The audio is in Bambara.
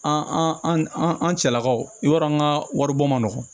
An an an cɛlakaw i b'a dɔn an ka wari bɔ ma nɔgɔ